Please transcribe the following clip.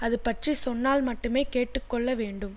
அதுபற்றிச் சொன்னால் மட்டுமே கேட்டுக்கொள்ள வேண்டும்